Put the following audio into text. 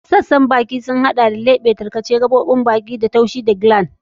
Sassan bakin sun hada da lebe, tarkace, kogon baki, gumi, hakora, gaɓoɓin baki da taushi, harshe da gland.